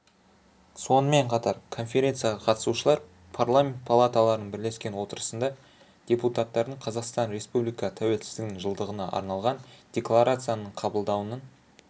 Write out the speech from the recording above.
сонымен қатар конференцияға қатысушылар парламент палаталарының бірлескен отырысында депутаттардың қазақстан республикасы тәуелсіздігінің жылдығына арналған декларацияның қабылдануын